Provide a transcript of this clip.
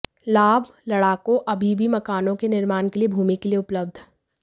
लाभ लड़ाकों अभी भी मकानों के निर्माण के लिए भूमि के लिए उपलब्ध